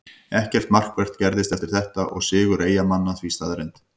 Ekkert markvert gerðist eftir þetta og sigur Eyjamanna því staðreynd.